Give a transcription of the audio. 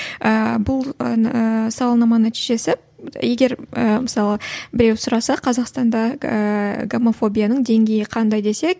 ыыы бұл сауалнама нәтижесі егер мысалы біреу сұраса қазақстанда ыыы гомофобияның деңгейі қандай десе